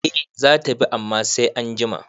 Eh zata bi amma sai anjima